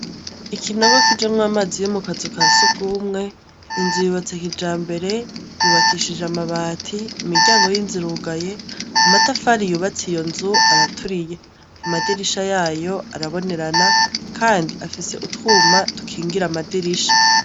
Ikinogo kijamwo amazi yo mu kazu ka sugumwe , inzu yubatse kijambere yubakishije amabati imiryango y'inzu irugaye amatafari yubatse iyo nzu araturiye, amadirisha yayo arabonerana kandi afise utwuma dukingira amadirisha.